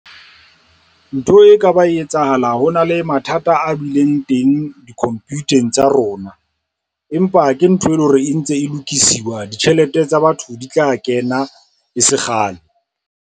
Ntho e ka ba e etsahala ho na le mathata a bileng teng di-computer-eng tsa rona, empa ke ntho e leng hore e ntse e lokisiwa ditjhelete tsa batho di tla kena e se kgale.